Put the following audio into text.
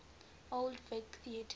old vic theatre